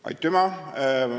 Aitüma!